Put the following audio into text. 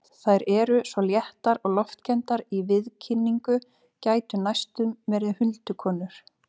Þær eru svo léttar og loftkenndar í viðkynningu, gætu næstum verið huldukonur.